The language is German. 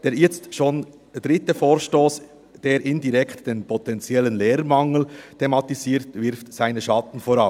Der jetzt schon dritte Vorstoss, der indirekt den potenziellen Lehrermangel thematisiert, wirft seine Schatten voraus.